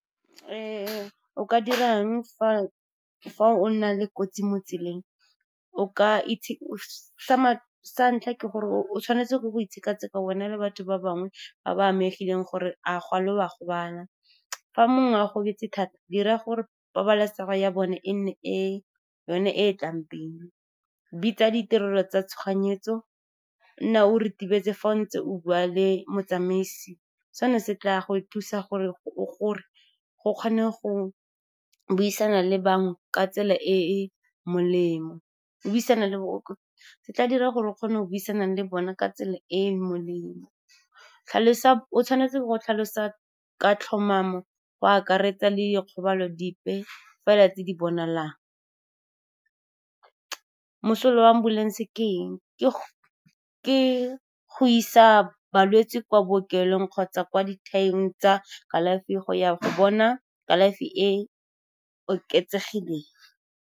O ka dirang fa o na le kotsi mo tseleng? Sa santlha ke gore o tshwanetse go itsheka-tsheka wena le batho ba bangwe ba ba amegileng gore a gale o a gobala. Fa mongwe a gobetse thata, dira gore pabalesego ya bone e nne yone e tlang pele. Bitsa ditirelo tsa tshoganyetso. Nna o ritibetse fa o ntse o bua le motsamaisi, sena se tla go thusa gore o kgone go tla dira gore o kgona go buisana le bona ka tsela e e molemo. O tshwanetse go tlhalosa ka tlhomamo, go akaretsa le dikgobalo dipe fela tse di bonalang. Mosola wa ambulence ke eng? Ke go isa balwetse kwa bookelong kgotsa kwa dithaeng tsa kalafi go ya go bona kalafi e e oketsegileng.